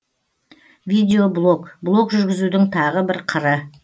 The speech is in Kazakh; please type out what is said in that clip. видеоблог блог жүргізудің тағы бір қыры